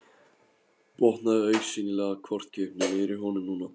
Botnaði augsýnilega hvorki upp né niður í honum núna.